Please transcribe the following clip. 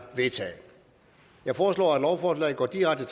vedtaget jeg foreslår at lovforslaget går direkte